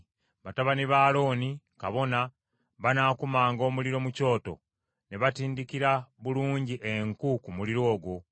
Batabani ba Alooni, kabona, banaakumanga omuliro mu kyoto, ne batindikira bulungi enku ku muliro ogwo.